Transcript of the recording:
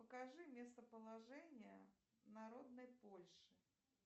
покажи местоположение народной польши